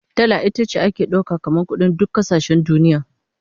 Dala ita ce ake dauka kamar kudin duk kasashen duniya